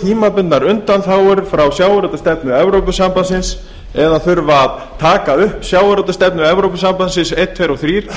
tímabundnar undanþágur frá sjávarútvegsstefnu evrópusambandsins eða þurfa að taka upp sjávarútvegsstefnu evrópusambandsins einn tveir og þrír